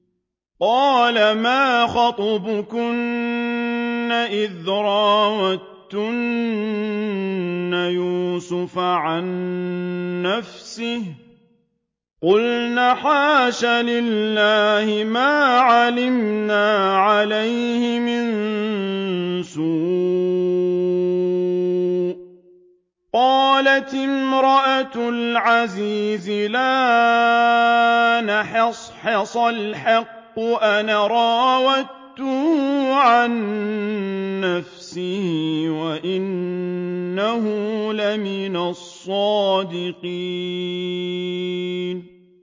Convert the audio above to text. قَالَ مَا خَطْبُكُنَّ إِذْ رَاوَدتُّنَّ يُوسُفَ عَن نَّفْسِهِ ۚ قُلْنَ حَاشَ لِلَّهِ مَا عَلِمْنَا عَلَيْهِ مِن سُوءٍ ۚ قَالَتِ امْرَأَتُ الْعَزِيزِ الْآنَ حَصْحَصَ الْحَقُّ أَنَا رَاوَدتُّهُ عَن نَّفْسِهِ وَإِنَّهُ لَمِنَ الصَّادِقِينَ